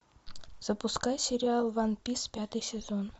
запускай сериал ван пис пятый сезон